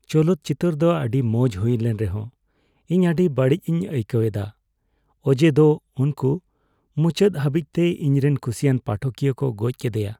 ᱪᱚᱞᱚᱛ ᱪᱤᱛᱟᱹᱨ ᱫᱚ ᱟᱹᱰᱤ ᱢᱚᱡ ᱦᱩᱭ ᱞᱮᱱ ᱨᱮᱦᱚᱸ ᱤᱧ ᱟᱹᱰᱤ ᱵᱟᱹᱲᱤᱡᱽᱤᱧ ᱟᱹᱭᱠᱟᱹᱣ ᱮᱫᱟ ᱚᱡᱮ ᱫᱚ ᱩᱝᱠᱩ ᱫᱚ ᱢᱩᱪᱟᱹᱫ ᱫᱷᱟᱹᱵᱤᱡᱛᱮ ᱤᱧᱨᱮᱱ ᱠᱩᱥᱤᱭᱟᱱ ᱯᱟᱴᱷᱚᱠᱤᱭᱟᱹ ᱠᱚ ᱜᱚᱡ ᱠᱮᱫᱟᱭᱟ ᱾